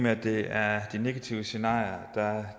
at det er de negative scenarier